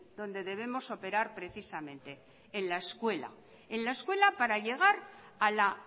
donde debemos operar precisamente en la escuela en la escuela para llegar a la